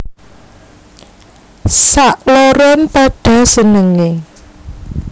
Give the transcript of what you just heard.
Sakloron padha senengé